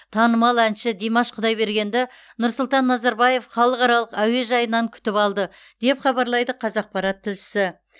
танымал әнші димаш құдайбергенді нұрсұлтан назарбаев халықаралық әуежайынан күтіп алды деп хабарлайды қазақпарат тілшісі